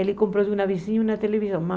Ele comprou de uma vizinha uma televisão.